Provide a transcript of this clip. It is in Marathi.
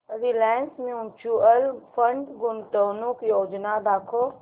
रिलायन्स म्यूचुअल फंड गुंतवणूक योजना दाखव